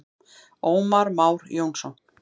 Ómar Már Jónsson.